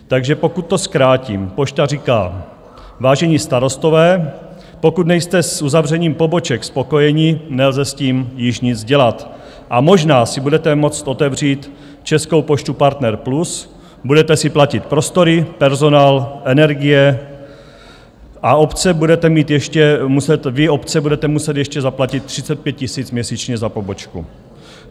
Takže pokud to zkrátím, Pošta říká: vážení starostové, pokud nejste s uzavřením poboček spokojeni, nelze s tím již nic dělat a možná si budete moct otevřít Českou poštu Partner Plus, budete si platit prostory, personál, energie a vy obce budete muset ještě zaplatit 35 000 měsíčně za pobočku.